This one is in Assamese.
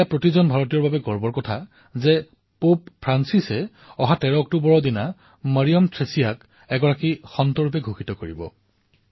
এয়া প্ৰতিজন ভাৰতীয়ৰ বাবে গৌৰৱৰ কথা যে পোপ ফ্ৰান্সিছে অহা ১৩ অক্টোবৰ তাৰিথে মৰিয়ম থ্ৰেছিয়াক সন্ত ঘোষিত কৰিব